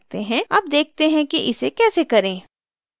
अब देखते हैं कि इसे कैसे करें